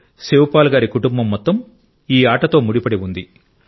శివపాల్ గారి కుటుంబం మొత్తం ఈ ఆటతో ముడిపడి ఉంది